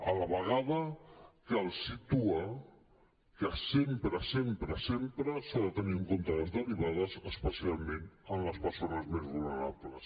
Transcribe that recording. a la vegada cal situar que sempre sempre sempre s’han de tenir en compte les derivades especialment en les persones més vulnerables